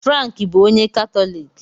Frank bụ onye Katọlik